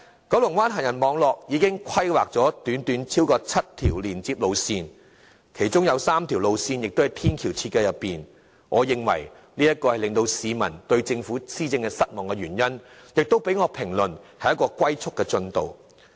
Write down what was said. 九龍灣行人網絡已經規劃了超過7條連接路線，其中3條路線的天橋正在設計中，我認為這是導致市民對政府施政失望的原因，我評之為"龜速"進度。